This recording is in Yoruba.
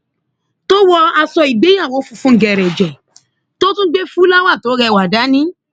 tó wọ aṣọ ìgbéyàwó funfun gẹrẹjẹ tó tún gbé fúláwá tó rẹwà dání